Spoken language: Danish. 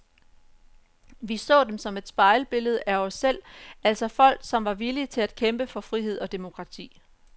Vi så dem som et spejlbillede af os selv, altså folk som var villige til at kæmpe for frihed og demokrati.